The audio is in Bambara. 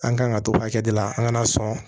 An kan ka to hakɛ dɔ la an kana sɔn